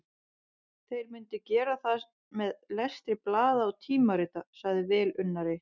Þeir myndu gera það með lestri blaða og tímarita, sagði velunnari